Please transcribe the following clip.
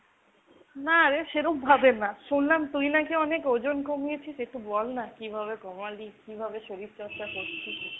না রে সেরমভাবে না। শুনলাম তুই নাকি অনেক ওজন কমিয়েছিস। একটু বল না কিভাবে কমালি, কিভাবে শরীরচর্চা করছিস?